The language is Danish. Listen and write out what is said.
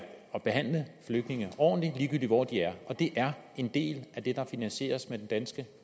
at behandle flygtninge ordentligt ligegyldigt hvor de er og det er en del af det der finansieres med den danske